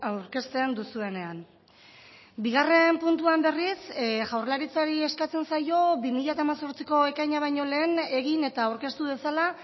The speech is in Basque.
aurkezten duzuenean bigarren puntuan berriz jaurlaritzari eskatzen zaio bi mila hemezortziko ekaina baino lehen egin eta aurkeztu dezala